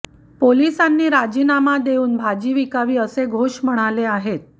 पोलिसांनी राजीनामा देऊन भाजी विकावी असे घोष म्हणाले आहेत